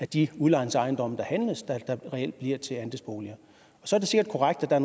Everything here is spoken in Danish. de udlejningsejendomme der handles der reelt bliver til andelsboliger så er det sikkert korrekt at der